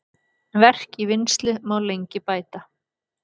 Verk í vinnslu má lengi bæta.